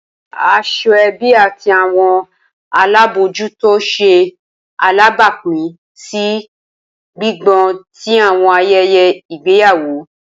Asoebi ati awọn alabojuto ṣe alabapin si gbigbọn ti awọn ayẹyẹ igbeyawo.